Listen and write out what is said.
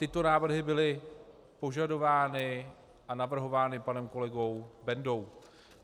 Tyto návrhy byly požadovány a navrhovány panem kolegou Bendou.